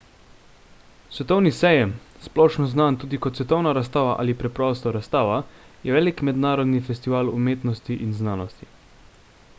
svetovni sejem splošno znan tudi kot svetovna razstava ali preprosto razstava je velik mednarodni festival umetnosti in znanosti